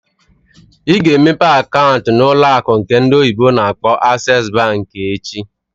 Ị ga emepe akaant n'ụlọ akụ nke ndị oyibo na akpọ "Access Bank" echi!